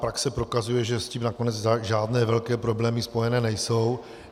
Praxe prokazuje, že s tím nakonec žádné velké problémy spojené nejsou.